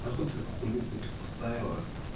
на хуй ты хуйню какую-то поставила